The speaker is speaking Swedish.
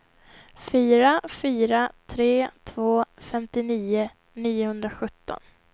fyra fyra tre två femtionio niohundrasjutton